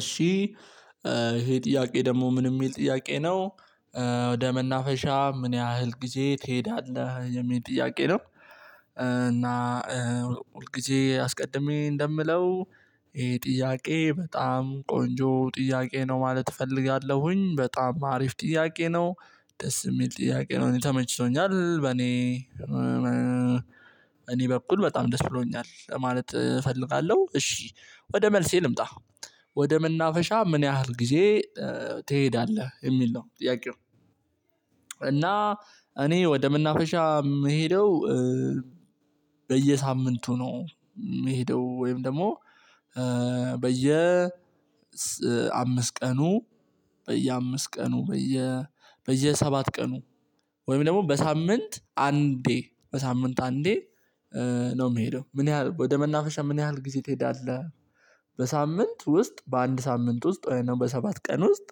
እሺ ይሄ ጥያቄ ደግሞ ምን የሚል ጥያቄ ነው። ወደ መናፈሻ ምን ያህል ጊዜ ትሄዳለህ የሚል ጥያቄ ነው። እና ሁል ጊዜ አስቀድሜ እንደምለው። ይሄ ጥያቄ በጣም ቆንጆ ጥያቄ ነው ማለት እፈልጋለሁኝ በጣም አሪፍ ጥያቄ ነው። ደስ የሚል ጥያቄ ነው እኔ ተመችቶኛል በኔ እኔ በኩል በጣም ደስ ብሎኛል ማለት እፈልጋለሁ። እሺ ወደ መልሴ ልምጣ ወደ መናፈሻ ምን ያህል ጊዜ ትሄዳለህ የሚል ነው ጥያቄው። እና እኔ ወደምናፈሻ ምሄደው በየሳምንቱ ነው የሚሄደው። ወይም ደግሞ በየ አምስት ቀኑ በየአምስት ቀኑ በየ በየሰባት ቀኑ ወይም ደግሞ በሳምንት አንዴ በሳምንት አንዴ። ነው የምሄደው ምን ያህል ወደ መናፈሻ ምን ያህል ጊዜ ትሄዳለህ? በሳምንት ውስጥ በአንድ ሳምንት ውስጥ ወይም በሰባት ቀን ውስጥ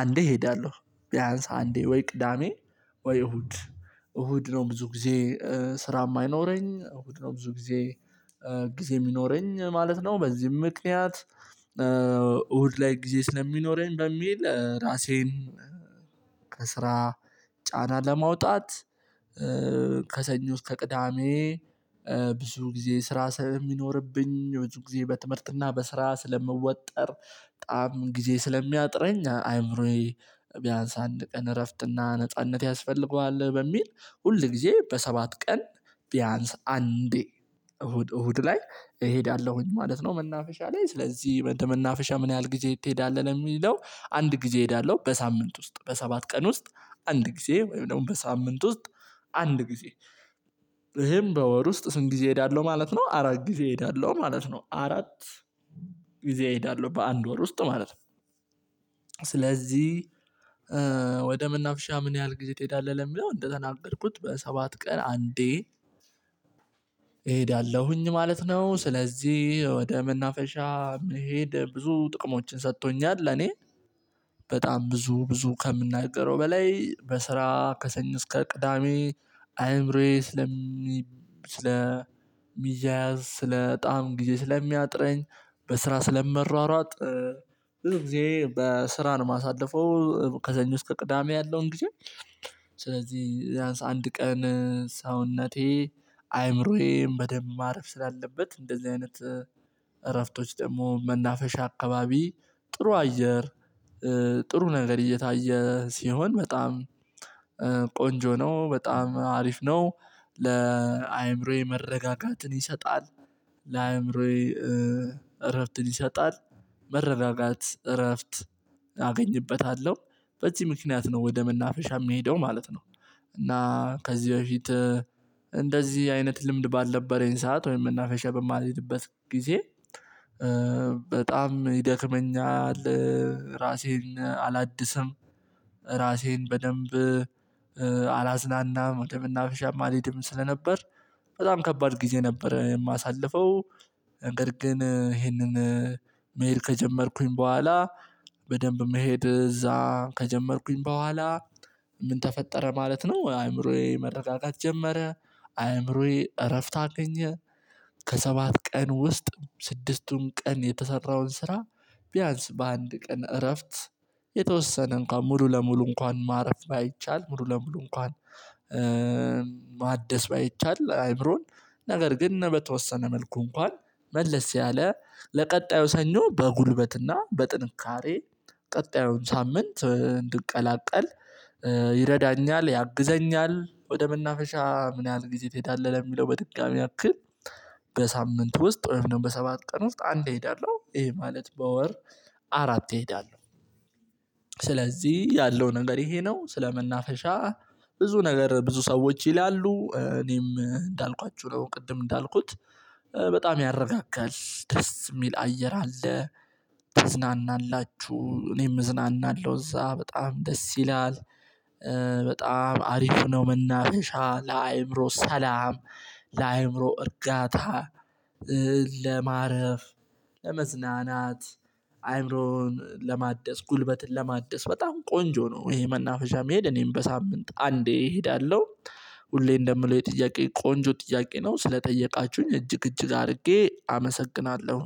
አንዴ እሄዳለሁ። ቢያንስ አንዴ ወይ ቅዳሜ ወይ እሁድ እሁድ ነው ብዙ ጊዜ ስራ የማይኖረኝ እሁድ ነው ብዙ ጊዜ። ጊዜ የሚኖረኝ ማለት ነው። በዚህም ምክንያት እሁድ ላይ ጊዜ ስለሚኖረኝ በሚል ራሴን ከስራ ጫና ለማውጣት ከሰኞ እስከ ቅዳሜ። ብዙ ጊዜ ስራ ስለሚኖርብኝ ብዙ ጊዜ በትምህርትና በስራ ስለምወጠር በጣም ጊዜ ስለሚያጥረኝ አይምሮዬ ቢያንስ አንድ ቀን እረፍትና ነጻነት ያስፈልገዋል። በሚል ሁል ጊዜ በሰባት ቀን ቢያንስ አንዴ እሁድ እሁድ ላይ እሄዳለሁኝ ማለት ነው። መናፈሻ ላይ ስለዚህ መናፈሻ ምን ያህል ጊዜ ትሄዳለህ ለሚለው አንድ ጊዜ እሄዳለሁ። በሳምንት ውስጥ በሰባት ቀን ውስጥ አንድ ጊዜ ወይም ደግሞ በሳምንት ውስጥ አንድ ጊዜ። ይሄም በወር ውስጥ ስንት ጊዜ እሄዳለሁ ማለት ነው አራት ጊዜ እሄዳለሁ ማለት ነው አራት ጊዜ እሄዳለሁ በአንድ ወር ውስጥ ማለት ነው። ስለዚህ ወደ መናፍሻ ምን ያህል ጊዜ ትሄዳለህ ለሚለው እንደተናገርኩት በሰባት ቀን አንዴ እሄዳለሁኝ ማለት ነው። ስለዚህ ወደ መናፈሻ መሄድ ብዙ ጥቅሞችን ሰጥቶኛል። እኔ በጣም ብዙ ብዙ ከምናገረው በላይ በስራ ከሰኞ እስከ ቅዳሜ አይምሮዌ ስለሚ ስለሚያያዝ ስለጣም ጊዜ ስለሚያጥረኝ። በስራ ስለመሯሯጥ ብዙ ጊዜ በስራ ነው የማሳልፈው ከሰኞ እስከ ቅዳሜ ያለውን ጊዜ። ስለዚህ ቢያንስ አንድ ቀን ሰውነቴ አይምሮዬን በደንብ ማረፍ ስላለበት እንደዚህ አይነት እረፍቶች ደግሞ መናፈሻ አካባቢ ጥሩ አየር ጥሩ ነገር እየታየ ሲሆን በጣም ቆንጆ ነው በጣም አሪፍ ነው። ለአእምሮዬ መረጋጋትን ይሰጣል። ለአእምሮዬ እረፍትን ይሰጣል። መረራጋት እረፍት አገኝበታለሁ በዚህ ምክንያት ነው ወደ መናፈሻ የሚሄደው ማለት ነው። እና ከዚህ በፊት እንደዚህ አይነት ልምድ ባልነበረኝ ሰዓት ወይም መናፈሻ በማልሄድበት ጊዜ በጣም ይደክመኛል። ራሴን አላድስም። ራሴን በደንብ አላዝናናም ወደ መናፈሻም አልሄድም ስለነበር በጣም ከባድ ጊዜ ነበረ የማሳልፈው። ነገር ግን ይሄንን መሄድ ከጀመርኩኝ በኋላ በደንብ መሄድ እዛ ከጀመርኩኝ በኋላ ምን ተፈጠረ ማለት ነው አይምሮዬ መረጋጋት ጀመረ። አይምሮዬ እረፍት አገኘ። ከሰባት ቀን ውስጥ ስድስቱን ቀን የተሰራውን ስራ ቢያንስ በአንድ ቀን እረፍት። የተወስነ እንኳን ሙሉ ለሙሉ እንኳን ማረፍ ባይቻል ሙሉ ለሙሉ እንኳን። ማደስ ባይቻል አይምሮን ነገር ግን በተወሰነ መልኩ እንኳን መለስ ያለ ለቀጣዩ ሰኞ በጉልበትና በጥንካሬ ቀጣዩን ሳምንት እንድቀላቀል ይረዳኛል ያግዘኛል። ወደ መናፈሻ ምን ያህል ጊዜ ትሄዳለህ? ለሚለው በድጋሚ ያክል በሳምንት ውስጥ ወይም ደግሞ በሰባት ቀን ውስጥ አንድ እሄዳለሁ ይሄ ማለት በወር አራት እሄዳለሁ። ያለው ነገር ይሄ ነው። ስለመናፈሻ ብዙ ነገር ብዙ ሰዎች ይላሉ እኔም እንዳልኳችሁ ነው ቅድም እንዳልኩት በጣም ያረጋጋል ደስ የሚል አየር አለ። ትዝናናላችሁ እኔም እዝናናለሁ እዛ በጣም ደስ ይላል። በጣም አሪፍ ነው። መናፈሻ ለአእምሮ ሰላም ለአእምሮ እርጋታ ለማረፍ ለመዝናናት አይምሮን ለማደስ ጉልበትን ለማደስ በጣም ቆንጆ ነው። ይሄ መናፈሻ መሄድ እኔም በሳምንት አንዴ እሄዳለሁ። ሁሌ እንደምለው ይሄ የጥያቄ ቆንጆ ጥያቄ ነው ስለጠየቃችሁኝ እጅግ እጅግ አድርጌ አመሰግናለሁ።